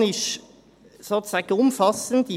Die Evaluation ist sozusagen umfassend.